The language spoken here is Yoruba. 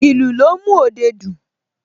Ìlù ló ń mú òde dùn